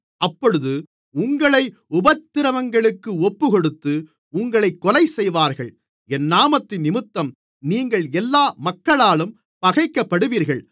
அப்பொழுது உங்களை உபத்திரவங்களுக்கு ஒப்புக்கொடுத்து உங்களைக் கொலைசெய்வார்கள் என் நாமத்தினிமித்தம் நீங்கள் எல்லா மக்களாலும் பகைக்கப்படுவீர்கள்